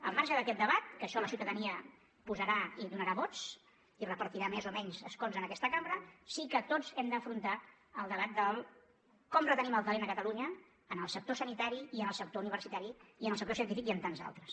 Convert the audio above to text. al marge d’aquest debat que això la ciutadania posarà i donarà vots i repartirà més o menys escons en aquesta cambra sí que tots hem d’afrontar el debat de com retenim el talent a catalunya en el sector sanitari i en el sector universitari i en el sector científic i en tants altres